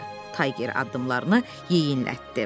Tayger addımlarını yeyinlətdi.